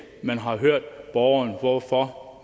man har hørt borgeren om hvorfor